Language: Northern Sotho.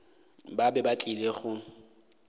ba be ba tlile go